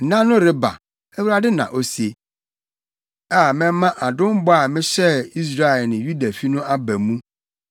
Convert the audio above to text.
“ ‘Nna no reba,’ Awurade na ose, a mɛma adom bɔ a mehyɛɛ Israel ne Yudafi no aba mu.